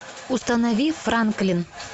установи франклин